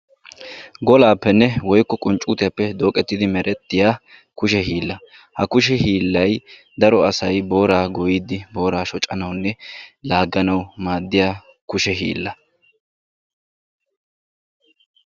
Golaappenne woykko qunccuutiyappe dooqettidi merettiya kushe hiillaa. Ha kushe hiillay daro asay booraa goyyiiddi booraa shocanawunne laagganawu maaddiya kushe hiilla.